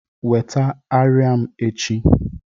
weta arịa m echi